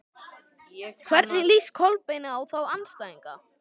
Hvernig líst Kolbeini á þá andstæðinga?